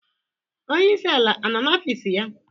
Onyeisi ala anọ n'ọfịs ya?